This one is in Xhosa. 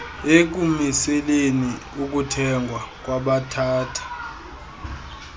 ekumiseleni ukuthengwa kwabathatha